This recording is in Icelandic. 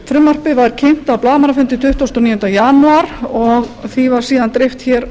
frumvarpið var kynnt á blaðamannafundi tuttugasta og níunda janúar og því var síðan dreift hér